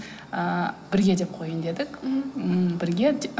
ы бірге деп қояйын дедік мхм ммм бірге